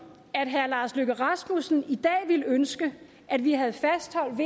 at herre lars løkke rasmussen i dag ville ønske at vi havde fastholdt